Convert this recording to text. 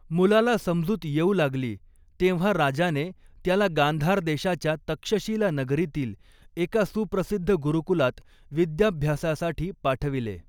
मुलाला समजूत येऊ लागली, तेव्हा राजाने त्याला गांधार देशाच्या तक्षशिला नगरीतील एका सुप्रसिद्ध गुरुकुलात विद्याभ्यासासाठी पाठविले.